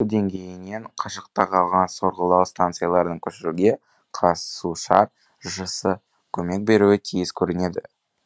деңгейінен қашықта қалған сорғылау станцияларын көшіруге қазсушар жшс көмек беруі тиіс көрінеді